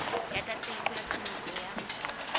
ya tataiso ya tsamaiso ya